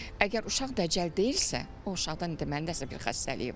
Əgər uşaq dəcəl deyilsə, o uşaqda deməli nəsə bir xassəyi var.